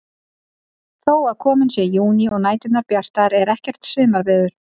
Þó að kominn sé júní og næturnar bjartar er ekkert sumarveður.